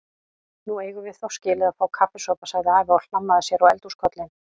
Nú eigum við þó skilið að fá kaffisopa sagði afi og hlammaði sér á eldhúskollinn.